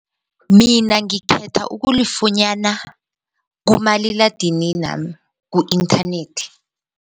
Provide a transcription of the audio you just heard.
Mina ngikhetha ukulifunyana kumaliladininami ku-inthanethi.